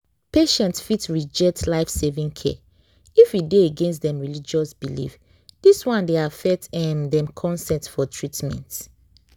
patients fit reject life-saving care if e dey against dem religious beliefs dis one dey affect um dem consent for treatment